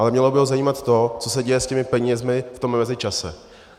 Ale mělo by ho zajímat to, co se děje s těmi penězi v tom mezičase.